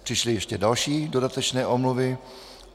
Přišly ještě další dodatečné omluvy.